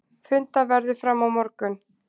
Fundað verður áfram á morgun.